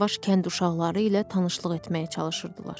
Yavaş-yavaş kənd uşaqları ilə tanışlıq etməyə çalışırdılar.